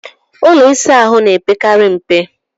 Ụlọ ịsa ahụ na-epekarị mpe.